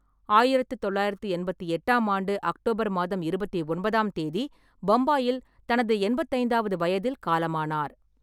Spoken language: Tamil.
ஆயிரத்து தொள்ளாயிரத்தி எண்பத்தி எட்டாம் ஆண்டு அக்டோபர் மாதம் இருபத்தி ஒன்பதாம் தேதி பம்பாயில் தனது எண்பத்தி ஐந்தாவது வயதில் காலமானார்.